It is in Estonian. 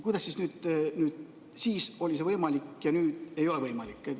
Kuidas see siis oli võimalik ja nüüd ei ole?